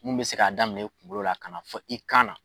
Mun bɛ se k'a daminɛ i kunkolo la, ka na fɔ i kan na